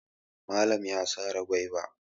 Malan ya sare gwaiba.